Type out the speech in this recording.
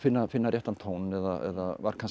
að finna réttan tón eða var kannski